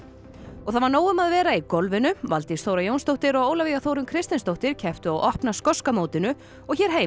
og það var nóg um að vera í golfinu Valdís Þóra Jónsdóttir og Ólafía Þórunn Kristinsdóttir kepptu á opna skoska mótinu og hér heima